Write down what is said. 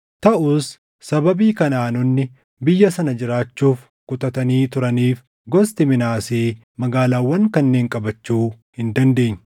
Taʼus sababii Kanaʼaanonni biyya sana jiraachuuf kutatanii turaniif gosti Minaasee magaalaawwan kanneen qabachuu hin dandeenye.